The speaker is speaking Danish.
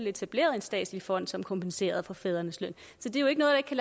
etableret en statslig fond som kompenserede for fædrenes løn